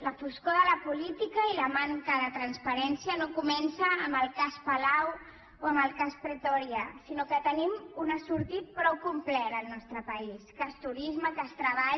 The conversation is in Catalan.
la foscor de la política i la manca de transparència no comencen amb el cas palau o amb el cas pretòria sinó que en tenim un assortit prou complet al nostre país cas turisme cas treball